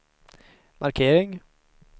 markering